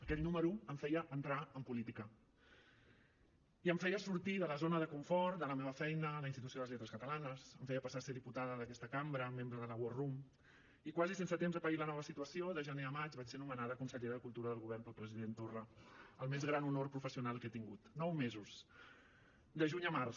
aquell número em feia entrar en política i em feia sortir de la zona de confort de la meva feina a la institució de les lletres catalanes em feia passar a ser diputada d’aquesta cambra membre de la war room i quasi sense temps de pair la nova situació de gener a maig vaig ser nomenada consellera de cultura del govern pel president torra el més gran honor professional que he tingut nou mesos de juny a març